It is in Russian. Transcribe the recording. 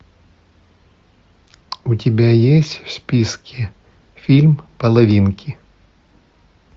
у тебя есть в списке фильм половинки